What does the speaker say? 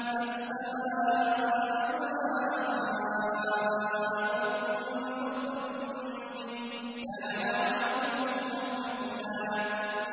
السَّمَاءُ مُنفَطِرٌ بِهِ ۚ كَانَ وَعْدُهُ مَفْعُولًا